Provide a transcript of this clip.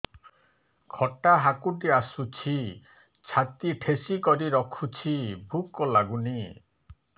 ଖଟା ହାକୁଟି ଆସୁଛି ଛାତି ଠେସିକରି ରଖୁଛି ଭୁକ ଲାଗୁନି